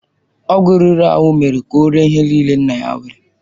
Ọgwụ riri ahụ mere ka ọ ree ihe niile nna ya nwere.